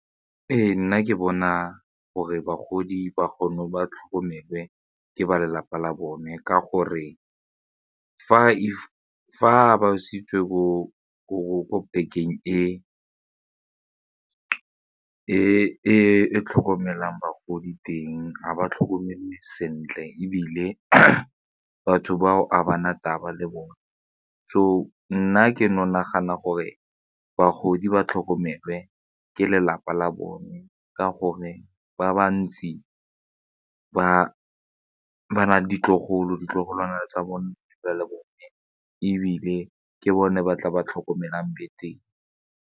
Ee, nna ke bona gore bagodi ba kgone ba tlhokomele ka ba lelapa la bone ka gore fa ba e e tlhokomelang bagodi teng ga ba tlhokomele sentle ebile a batho bao a bana taba le bone so nna ke nagana gore bagodi ba tlhokomelwe ke lelapa la bone ka gore ba bantsi ba na le ditlogolwana tsa bone gore le bone ebile ke bone ba tla ba tlhokomelang betere.